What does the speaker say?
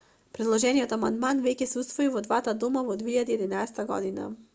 предложениот амандман веќе се усвои во двата дома во 2011 г